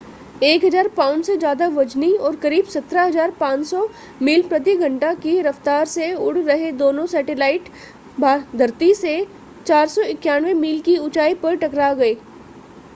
1000 pound से ज़्यादा वज़नी और करीब 17,500 मील प्रति घंटा की रफ़्तार से उड़ रहे दोनों सैटेलाइट धरती से 491 मील की ऊंचाई पर टकरा गए